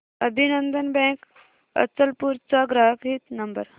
अभिनंदन बँक अचलपूर चा ग्राहक हित नंबर